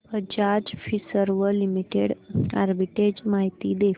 Bajaj Finserv limited arbitrage माहिती दे